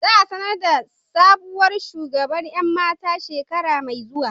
Za a sanar da sabuwar shugaban 'yan mata a shekara mai zuwa.